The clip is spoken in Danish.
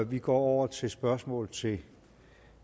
vi går over til spørgsmål til